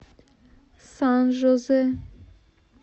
сан жозе